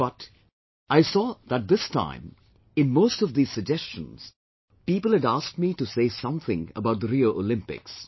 But, I saw that this time in most of these suggestions, people had asked me to say something about the Rio Olympics